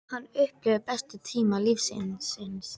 Hann upplifði bestu tíma lífs síns.